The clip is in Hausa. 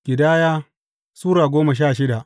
Ƙidaya Sura goma sha shida